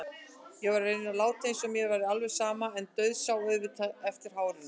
Ég reyndi að láta eins og mér væri alveg sama en dauðsá auðvitað eftir hárinu.